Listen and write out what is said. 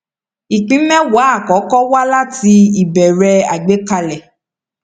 ìpín méwàá àkọkọ wá láti ìbèrè àgbékalẹ